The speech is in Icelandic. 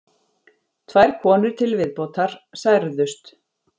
Tvær konur til viðbótar særðust